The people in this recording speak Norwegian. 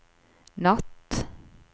natt